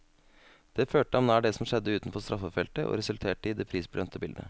Det førte ham nær det som skjedde utenfor straffefeltet, og resulterte i det prisbelønnede bildet.